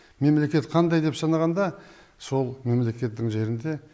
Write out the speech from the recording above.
мемлекет қандай деп санағанда сол мемлекеттің жерінде